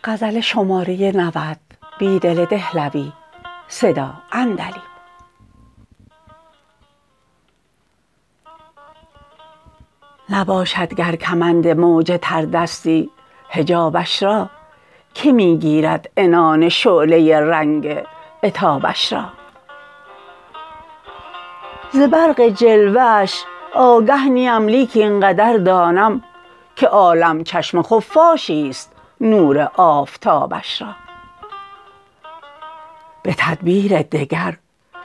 نباشدگرکمند موج تردستی حجابش را که می گیرد عنان شعله رنگ عتابش را ز برق جلوه اش آگه نی ام لیک اینقدر دانم که عالم چشم خفاشی ست نور آفتابش را به تدبیر دگر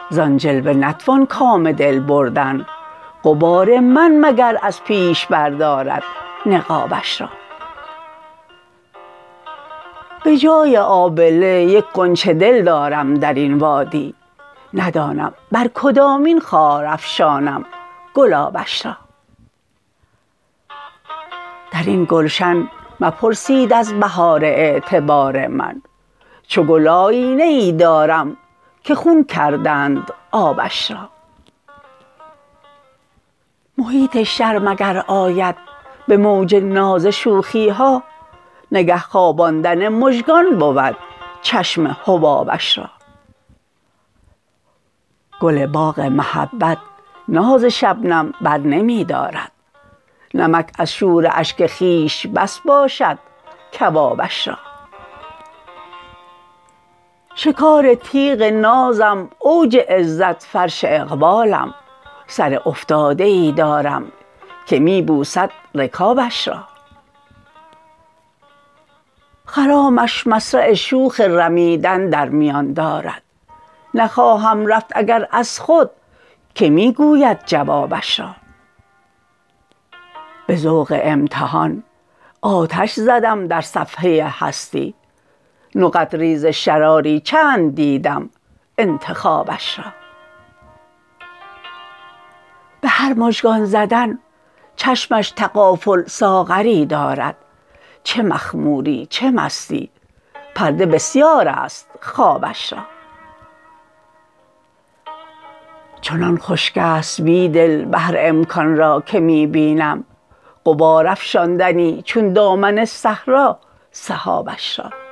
زان جلوه نتوان کام دل بردن غبار من مگر از پیش بردارد نقابش را به جای آبله یک غنچه دل دارم درتن وادی ندانم برکدامین خار افشانم گلابش را درین گلشن مپرسید از بهار اعتبار من چوگل آیینه ای دارم که خون کردند آبش را محیط شرم اگرآید به موج ناز شوخیها نگه خواباندن مژگان بود چشم حبابش را گل باغ محبت ناز شبنم برنمی دارد نمک از شوراشک خویش بس باشدکبابش را شکار تیغ نازم اوج عزت فرش اقبالم سر افتاده ای دارم که می بوسد رکابش را خرامش مصرع شوخ رمیدن در میان دارد نخواهم رفت اگراز خودکه می گوید جوابش را به ذوق امتحان آتش زدم درصفحه هستی نقط ریز شراری چند دیدم انتخابش را به هر مژگان زدن چشمش تغافل ساغری دارد چه مخموری چه مستی پرده بسیاراست خوابش را چنان خشکی ست بیدل بحرامکان را که می بینم غبار افشاندنی چون دامن صحرا سحابش را